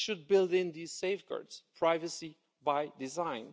We should build in these safeguards privacy by design.